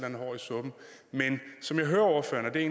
andet hår i suppen men